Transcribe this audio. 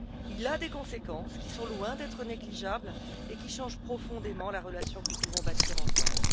Il a des conséquences qui sont loin d'être négligeables et qui changent profondément la relation que nous pouvons bâtir ensemble.